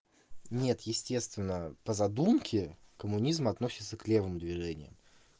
нет естественно по задумке коммунизм относится к левым движениям